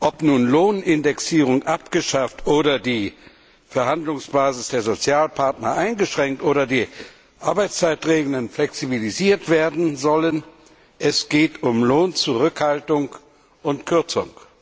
Ob nun die Lohnindexierung abgeschafft oder die Verhandlungsbasis der Sozialpartner eingeschränkt oder die Arbeitszeitregelungen flexibilisiert werden sollen es geht um Lohnzurückhaltung und kürzung.